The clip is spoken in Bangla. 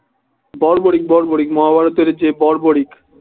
বর্বরিক মহাভারতের যে বর্বরিক